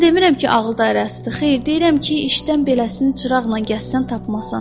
Mən demirəm ki, ağıl dairəsidir, xeyr, deyirəm ki, işdən beləsinin çırağla gəzəsən tapmazsan.